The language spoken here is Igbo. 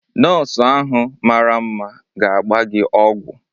Nọọsụ ahụ mara mma ga-agba gị ọgwụ.